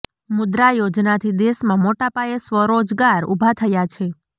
મુદ્રા યોજનાથી દેશમાં મોટા પાયે સ્વરોજગાર ઉભા થયા છે